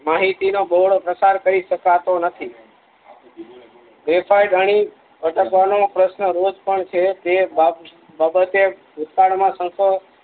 માહિતી નો બોહળોપ્રકાર કરી શકાતો નથી ગ્રેફાઇટ જાણી અટકવાનો પ્રશ્ન રોજ પણ છે તે બાબતે ભૂતકાળ માં સંશોધકો